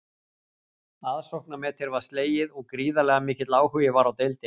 Aðsóknarmetið var slegið og gríðarlega mikill áhugi var á deildinni.